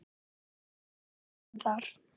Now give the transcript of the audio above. Hver var útkoman þar?